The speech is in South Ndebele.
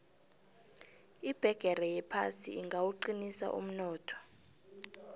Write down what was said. ibhigiri yephasi ingawuqinisa umnotho